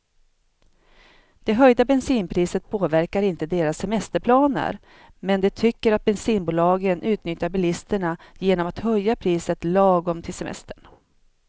Det höjda bensinpriset påverkar inte deras semesterplaner, men de tycker att bensinbolagen utnyttjar bilisterna genom att höja priset lagom till semestern.